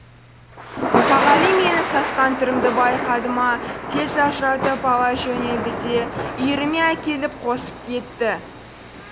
мұқағали менің сасқан түрімді байқады ма тез ажыратып ала жөнелді де үйіріме әкеліп қосып кетті